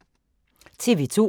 TV 2